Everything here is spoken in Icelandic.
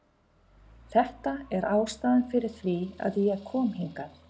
Þetta er ástæðan fyrir því að ég kom hingað.